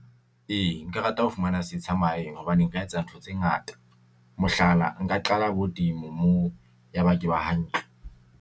E, nka rata ho fumana setsha mahaeng hobane nka etsa ntho tse ngata, mohlala, nka qala bo moo, ya ba ke ba hantle.